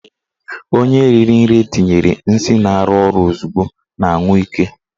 Onye riri nri etinyere nsị na-arụ ọrụ ozugbo na-anwụ ike.